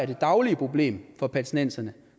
det daglige problem for palæstinenserne